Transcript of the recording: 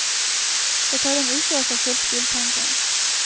Det tar en uke å få fylt biltanken.